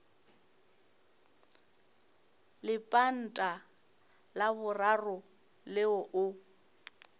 lepanta la boraro leo o